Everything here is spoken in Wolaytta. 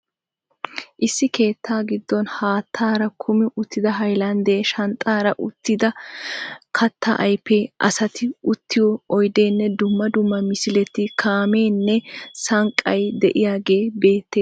Issi keettaa giddon haattaara kummi uttida haylaandee, shanxxaara uttida kattaa ayfee, asati, uttiyo oydeenne dumma dumma misileti kaameenne sanqqay de'iyagee beettees.